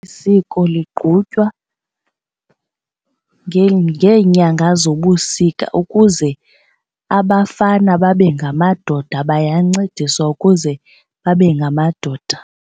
Eli siko ligqutywa ngeenyanga zobusika ukuze abafana babe ngamadoda bayancediswa ukuze babe ngamadoda.